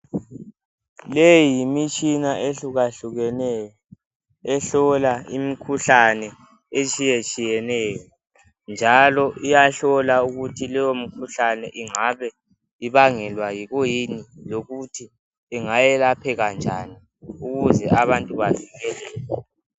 Leyi yimitshina ehlukahlukeneyo ehlola imikhuhlane etshiyetshiyeneyo njalo iyahlola ukuthi leyo mkhuhlane ingabe ibangelwa kuyini lokuthi ingayelapheka njani ukuze abantu bavikelele.